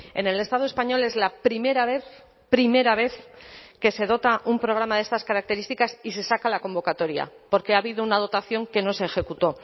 en el estado español es la primera vez primera vez que se dota un programa de estas características y se saca la convocatoria porque ha habido una dotación que no se ejecutó